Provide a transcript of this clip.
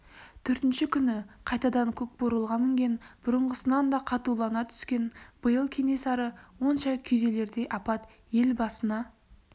төртінші күні қайтадан көкбурылға мінген бұрынғысынан да қатулана түскен биыл кенесары онша күйзелердей апат ел басына